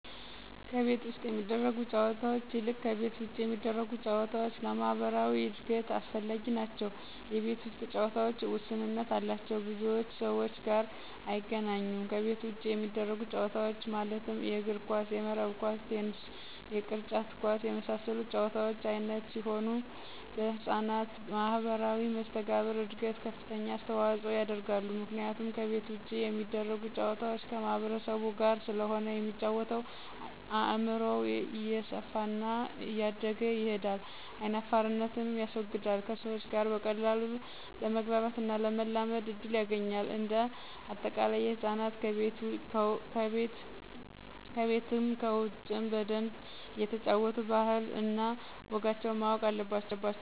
ከቤት ውስጥ ከሚደረጉ ጨዎታዎች ይልቅ ከቤት ውጭ የሚደረጉ ጨዎታዎች ለማህበራዊ እድገት አስፈላጊዎች ናቸው የቤት ውስጥ ጨዎታዎች ውስንነት አላቸው ከብዙ ሰዎች ጋር አያገናኙም ከቤት ውጭ የሚደረጉት ጨዎታዎች ማለትም የእግር ኳስ :የመረብ ኳስ :ቴንስ የቅርጫት ኳስ የመሳሰሉት የጨዎታ አይነቶች ሲሆኑ ለህጻናት ማህበራዊ መሰተጋብር እድገት ከፍተኛ አስተዋጽኦ ያደርጋሉ ምክንያቱም ከቤት ውጭ የሚደረጉ ጨዋታዎች ከማህበረሰቡ ጋር ስለሆነ የሚጫወተው አእምሮው እየሰፋና እያደገ ይሄዳል አይናፋርነትንም ያስወግዳል ከሰዎች ጋር በቀላሉ ለመግባባትና ለመላመድ እድል ያገኛል። እንደ አጠቃላይ ህፃናት ከቤትም ከውጭም በደንብ እየተጫወቱ ባህል እነ ወጋቸውን ማወቅ አለባቸው